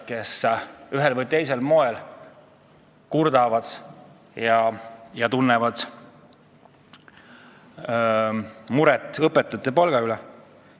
Ikka on ühel või teisel moel kurdetud, et õpetajate palk on liiga väike.